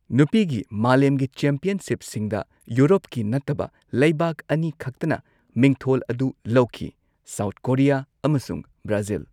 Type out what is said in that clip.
ꯅꯨꯄꯤꯒꯤ ꯃꯥꯂꯦꯝꯒꯤ ꯆꯦꯝꯄꯤꯌꯟꯁꯤꯞꯁꯤꯡꯗ ꯌꯨꯔꯣꯞꯀꯤ ꯅꯠꯇꯕ ꯂꯩꯕꯥꯛ ꯑꯅꯤ ꯈꯛꯇꯅ ꯃꯤꯡꯊꯣꯜ ꯑꯗꯨ ꯂꯧꯈꯤ ꯁꯥꯎꯊ ꯀꯣꯔꯤꯌꯥ ꯑꯃꯁꯨꯡ ꯕ꯭ꯔꯥꯖꯤꯜ꯫